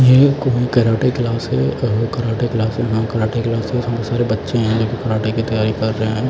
ये कोई karate class है और कराटे क्लास कराटे क्लास में बहुत सारे बच्चे हैं जो कि कराटे की तैयारी कर रहे हैं।